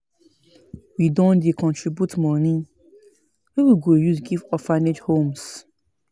We don dey contribute moni wey we go give orphanage homes.